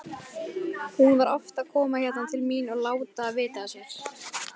Hún var oft að koma hérna til mín og láta vita af sér.